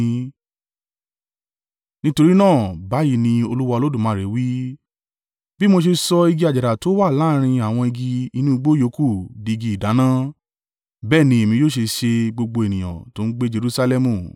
“Nítorí náà, báyìí ni Olúwa Olódùmarè wí, bí mo ṣe sọ igi àjàrà tó wà láàrín àwọn igi inú igbó yòókù di igi ìdáná, bẹ́ẹ̀ ni Èmi yóò ṣe ṣe gbogbo ènìyàn tó ń gbé Jerusalẹmu.